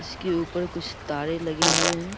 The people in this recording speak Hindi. इसके ऊपर कुछ तारें लगे हुए हैं।